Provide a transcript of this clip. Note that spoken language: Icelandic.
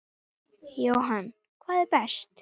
Jóhann: hvað er best?